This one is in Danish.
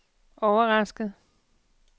overrasket